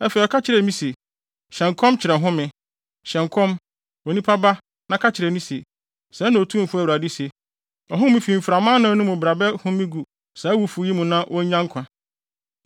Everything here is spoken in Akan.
Afei ɔka kyerɛɛ me se: “Hyɛ nkɔm kyerɛ home, hyɛ nkɔm, onipa ba na ka kyerɛ no se, ‘Sɛɛ na Otumfo Awurade se: Ɔhome fi mframa anan no mu bra bɛhome gu saa awufo yi mu na wonnya nkwa.’ ”